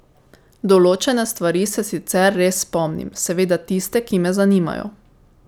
Določene stvari se sicer res spomnim, seveda tiste, ki me zanimajo.